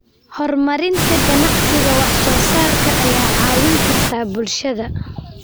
Horumarinta ganacsiga wax soo saarka ayaa caawin karta bulshada.